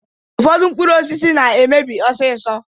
Ụfọdụ mkpụrụ osisi na-emebi ọsịsọ